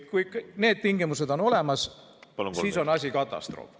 ... kui need tingimused on täidetud, siis on olukord katastroofiline.